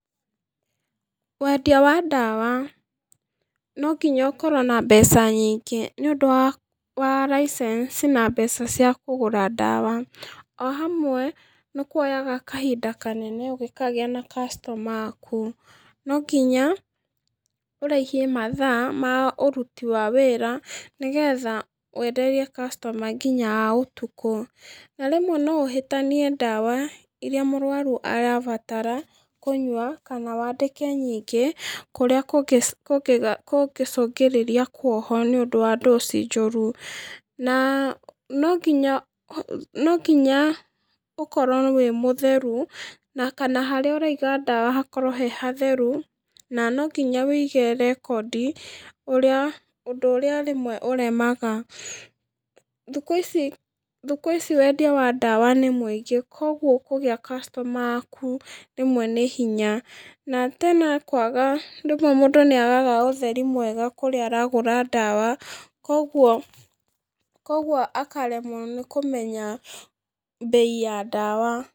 Wendia wa ndawa, nonginya ũkorwo na mbeca nyingĩ nĩũndũ wa wa license na mbeca cia kũgũra ndawa, o hamwe nĩkuoyaga kahinda kanenen ũngikagĩa na customer aku, nonginya, ũrĩhie mathaa ma ũruti wa wĩra, nĩgetha wenderie customer nginya a ũtukũ, na rĩmwe noũhĩtanie ndawa ĩrĩa mũrwaru arabatara kũnyua kana wandĩke nyingĩ kũrĩa kũngĩ ci kũngĩ kũngĩcungĩrĩria kuohwo nĩũndũ wa doss njũru, na nonginya ũ nonginya ũkorwo wĩ mũtheru na kana harĩa ũraiga ndawa hakorwo he hatheru, na nonginya wũige rekondi ũrĩa, ũndũ ũrĩa rĩmwe ũremaga, thikũ ici, thikũ ici wendia wa ndawa nĩmũingĩ, koguo kũgĩa customer aku rĩmwe nĩ hinya, na tena kwaga rĩmwe mũndũ nĩagaga ũtheri mwega kũrĩa aragũra ndawa, koguo, koguo akaremwo nĩkũmenya mbei ya ndawa.